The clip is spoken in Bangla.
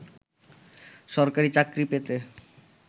সরকারি চাকরি পেতে